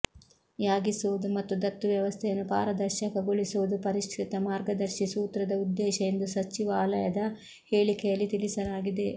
ಯಾಗಿಸುವುದು ಮತ್ತು ದತ್ತು ವ್ಯವಸ್ಥೆಯನ್ನು ಪಾರದರ್ಶಕಗೊಳಿಸುವುದು ಪರಿಷ್ಕೃತ ಮಾರ್ಗದರ್ಶಿ ಸೂತ್ರದ ಉದ್ದೇಶ ಎಂದು ಸಚಿವಾಲಯದ ಹೇಳಿಕೆಯಲ್ಲಿ ತಿಳಿಸಲಾಗಿದೆ